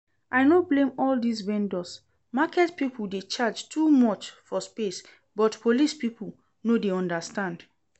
I no blame all dis vendors, market people dey charge too much for space but police people no dey understand